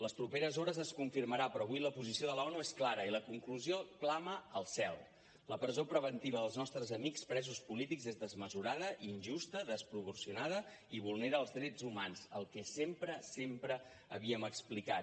les properes hores es confirmarà però avui la posició de l’onu és clara i la conclusió clama al cel la presó preventiva dels nostres amics presos polítics és desmesurada injusta desproporcionada i vulnera els drets humans el que sempre sempre havíem explicat